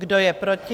Kdo je proti?